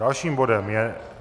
Dalším bodem je